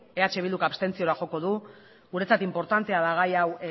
eh bilduk abstentzioa joko du guretzat inportantea da gai hau